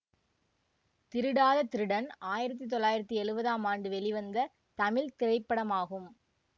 திருடாத திருடன் ஆயிரத்தி தொள்ளாயிரத்தி எழுவதாம் ஆண்டு வெளிவந்த தமிழ் திரைப்படமாகும்